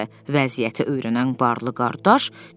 Vəziyyəti öyrənən varlı qardaş dedi.